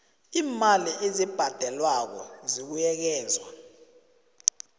iimali ezibhadelwako zibuyekezwa